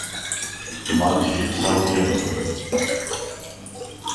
матчи саутгемптон